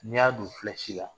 N'i y'a don la